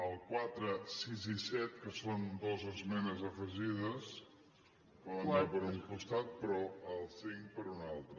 el quatre sis i set que són dues esmenes afegides poden anar per un costat però el cinc per un altre